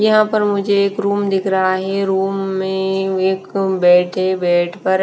यहाँ पर मुझे एक रूम दिख रहा है ये रूम में एक बैठे बैठ पर --